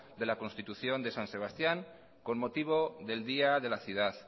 de la constitución de san sebastián con motivo del día de la ciudad